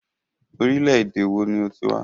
Orílẹ̀-èdè wo ni o ti wá?